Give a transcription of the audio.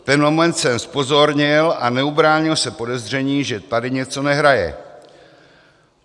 V ten moment jsem zpozorněl a neubránil se podezření, že tady něco nehraje.